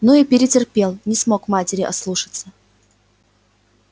ну и перетерпел не смог матери ослушаться